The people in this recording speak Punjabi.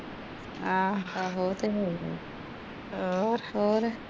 ਹੋਰ